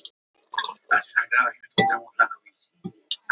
Áfengisneysla og áhrif hennar.